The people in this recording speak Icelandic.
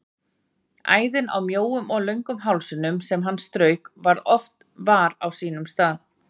Æðin á mjóum og löngum hálsinum sem hann strauk svo oft var á sínum stað.